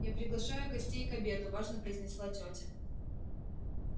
я приглашаю гостей к обеду важно произнесла тётя